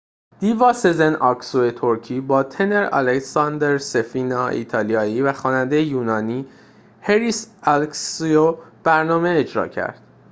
دیوا سزن آکسو ترکی با تنر آلساندرو سفینا ایتالیایی و خواننده یونانی هریس الکسیو برنامه اجرا کرد